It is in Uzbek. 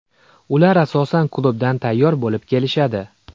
Ular asosan klubdan tayyor bo‘lib kelishadi.